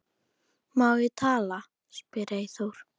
Má ég tala? spyr Eyþór.